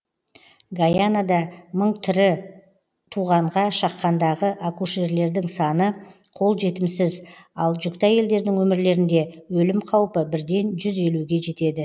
гайанада мың тірі туғанға шаққандағы акушерлердің саны қол жетімсіз ал жүкті әйелдердің өмірлерінде өлім қаупі бірден жүз елуге жетеді